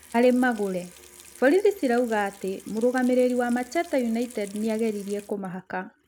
Harĩ Magũre: Borithi cirauga atĩ mũrũgamĩrĩri wa Macheta United nĩageririe kũmahaka.